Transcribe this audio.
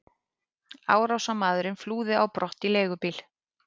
Árásarmaðurinn flúði á brott í leigubíl.